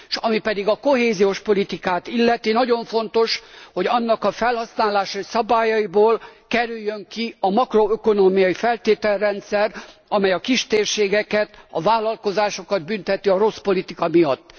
Ami pedig a kohéziós politikát illeti nagyon fontos, hogy annak a felhasználási szabályaiból kerüljön ki a makroökonómiai feltételrendszer, amely a kistérségeket, a vállalkozásokat bünteti a rossz politika miatt.